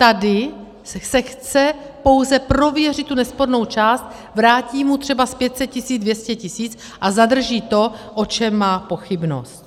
Tady se chce pouze prověřit tu nespornou část, vrátí mu třeba z 500 tisíc 200 tisíc a zadrží to, o čem má pochybnost.